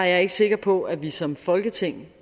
jeg ikke sikker på at vi som folketing